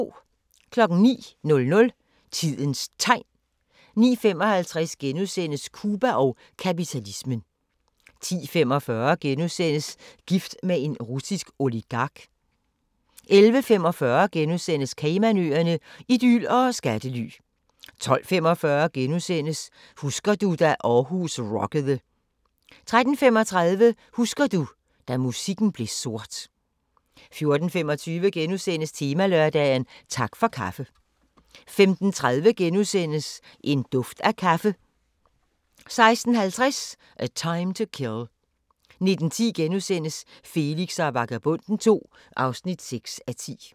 09:00: Tidens Tegn 09:55: Cuba og kapitalismen * 10:45: Gift med en russisk oligark * 11:45: Caymanøerne – idyl og skattely * 12:45: Husker du – da Aarhus rockede * 13:35: Husker du – da musikken blev sort 14:25: Temalørdag: Tak for kaffe * 15:30: En duft af kaffe * 16:50: A Time to Kill 19:10: Felix og Vagabonden II (6:10)*